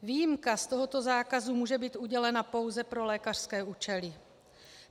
Výjimka z tohoto zákazu může být udělena pouze pro lékařské účely.